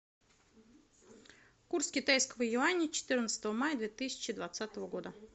курс китайского юаня четырнадцатого мая две тысячи двадцатого года